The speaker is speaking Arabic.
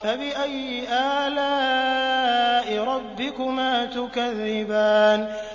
فَبِأَيِّ آلَاءِ رَبِّكُمَا تُكَذِّبَانِ